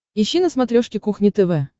ищи на смотрешке кухня тв